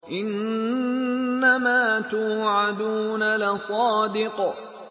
إِنَّمَا تُوعَدُونَ لَصَادِقٌ